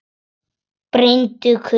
Brýndu kutann.